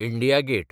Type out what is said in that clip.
India get